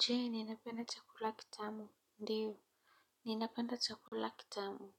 Je ninapenda chakula kitamu? Ndio ninapenda chakula kitamu